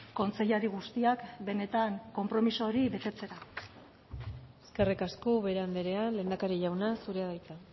kontseilari guztiak benetan konpromiso hori betetzera eskerrik asko ubera andrea lehendakari jauna zurea da hitza